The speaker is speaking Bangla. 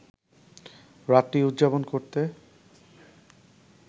রাতটি উদযাপন করতে